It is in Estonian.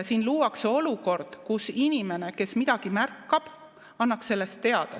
Siin luuakse olukord, kus inimene, kes midagi märkab, annaks sellest teada.